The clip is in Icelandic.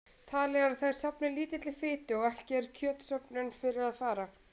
Talið er að þær safni lítilli fitu og ekki er kjötsöfnun fyrir að fara.